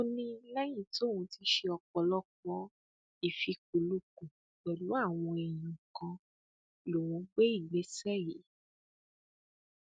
ó ní lẹyìn tóun ti ṣe ọpọlọpọ ìfikùnlukùn pẹlú àwọn èèyàn kan lòún gbé ìgbésẹ yìí